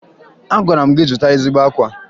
Agwara m gị zụta ezigbo akwa!